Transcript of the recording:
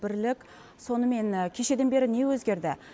бірлік сонымен кешеден бері не өзгерді